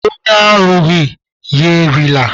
Onye arụghị, ya erila.